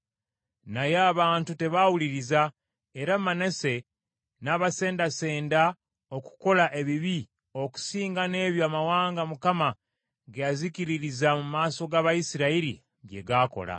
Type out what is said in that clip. Naye abantu tebaawuliriza, era Manase n’abasendasenda okukola ebibi okusinga n’ebyo amawanga Mukama ge yazikiririza mu maaso g’Abayisirayiri bye gaakola.